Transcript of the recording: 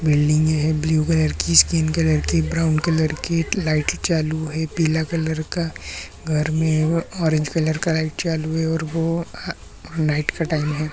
Building है blue colour की skin colour brown colour की लाइट चालू है पीला कलर का घर मे ऑरेंज कलर का लाइट है चालू है और वो नाइट का टाइम है।